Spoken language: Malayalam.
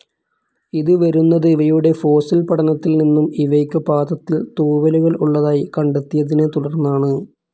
ഇത് വരുന്നത് ഇവയുടെ ഫോസിൽ പഠനത്തിൽ നിന്നും ഇവയ്ക്ക് പാദത്തിൽ തൂവലുകൾ ഉള്ളതായി കണ്ടെത്തിയതിനെ തുടർന്നാണ്.